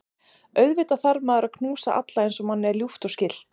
Auðvitað þarf maður að knúsa alla eins og manni er ljúft og skylt.